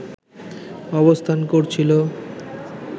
অবস্থান করছিলো